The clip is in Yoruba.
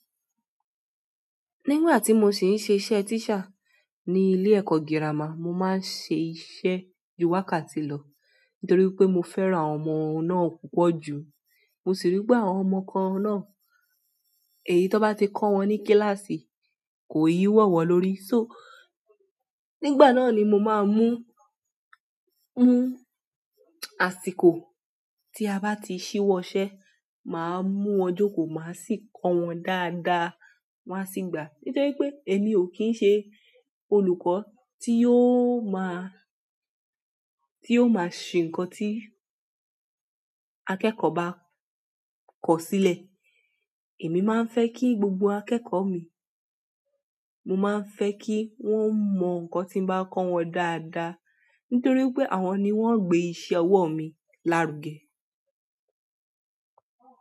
Nígbà tí mo sì ń ṣe iṣẹ́ teacher ní ilé ẹ̀kọ́ girama, mo máa ń ṣe iṣẹ́ ju wákàtí lọ nítorí pé mo fẹ́ran àwọn ọmọ náà púpọ̀ jù. Mo si ri pe àwọn ọmọ kan náà èyí tó bá ti kọ́ wọn ní kíláàsì kò i wọ́ wọ́n lórí. Só nígbà náà ni mo máa ń mú, mú àsìkò tí a bá ti ṣíwọ́ iṣẹ́ máa mú wọn jókòó, máa sì kọ́ wọn dáadáa, won a sì gbà. Nítorí pé èmi ò kí ń ṣe olùkọ́ tí yóò máa, tí yóò máa ṣe nkan tí akẹ́kọ̀ọ́ bá kọ̀sílẹ̀. Èmi máa ń fẹ́ kí gbogbo akẹ́kọ̀ọ́ mi, mo máa ń fẹ́ kí wọ́n mọ nǹkan tí mo bá kọ́ wọn dáadáa. Nítorí pé àwọn ni wọ́n gbé iṣẹ́ ọwọ́ mi lárugẹ.